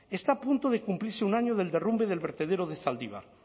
está a punto de cumplirse un año del derrumbe del vertedero de zaldibar